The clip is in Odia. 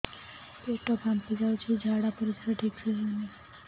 ପେଟ ଫାମ୍ପି ଯାଉଛି ଝାଡ଼ା ପରିସ୍ରା ଠିକ ସେ ହଉନି